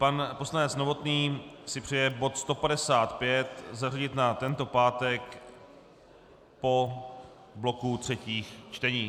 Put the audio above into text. Pan poslanec Novotný si přeje bod 155 zařadit na tento pátek po bloku třetích čtení.